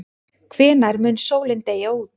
Hvenær mun sólin deyja út?